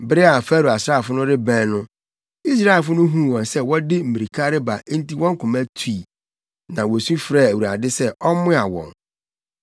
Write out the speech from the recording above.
Bere a Farao asraafo no rebɛn no, Israelfo no huu wɔn sɛ wɔde mmirika reba enti wɔn koma tui, na wosu frɛɛ Awurade sɛ ɔmmoa wɔn.